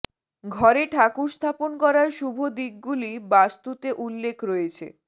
ঘরে ঠাকুর স্থাপন করার শুভ দিকগুলি বাস্তুতে উল্লেখ রয়েছে